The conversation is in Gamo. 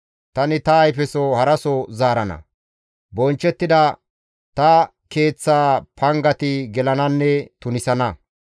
Tani ta ayfeso haraso zaarana; bonchchettida ta keeththaa pangati gelananne tunisana.